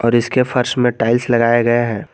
और इसके फर्श में टाइल्स लगाया गया है।